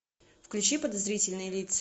включи подозрительные лица